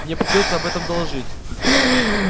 мне придётся об этом доложить